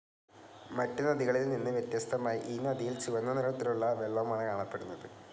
മറ്റുനദികളിൽ നിന്ന് വ്യത്യസ്തമായി ഈ നദിയിൽ ചുവന്ന നിറത്തിലുള്ള വെള്ളമാണ് കാണപ്പെടുന്നത്.